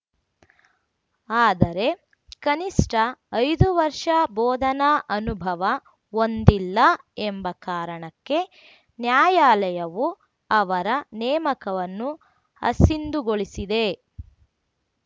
ಆದರೆ ಕನಿಷ್ಠ ಐದು ವರ್ಷ ಬೋಧನಾ ಅನುಭವ ಹೊಂದಿಲ್ಲ ಎಂಬ ಕಾರಣಕ್ಕೆ ನ್ಯಾಯಾಲಯವು ಅವರ ನೇಮಕವನ್ನು ಅಸಿಂಧುಗೊಳಿಸಿದೆ